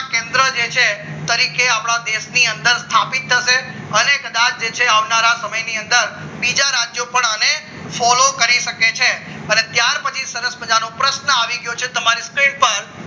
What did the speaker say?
કેન્દ્ર જે છે તરીકે આપણા દેશની અંદર સ્થાપિત થશે અને કદાચ જે છે આવનારા સમયમાં દેશની અંદર બીજા રાજ્યપાલ અને ફોલો કરી શકે છે અને ત્યાર પછી શરત મજાનો પ્રશ્ન આવી ગયો છે તમે screen પર